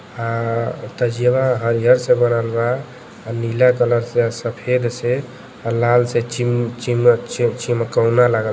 आ तजियावा हरिहर से बनल बा। आ नीला कलर से आ सफ़ेद से आ लाल से चि चिमकौना लागल बा।